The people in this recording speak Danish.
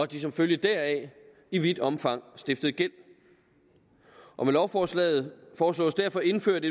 de som følge deraf i vidt omfang stiftede gæld og med lovforslaget foreslås derfor indført